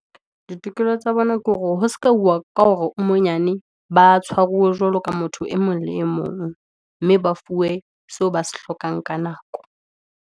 Ditokelo tsa bona ke hore, ho se ka hauwa ka hore o monyane, ba tshwaruwe jwalo ka motho e mong le e mong, mme ba fuwe seo ba se hlokang ka nako.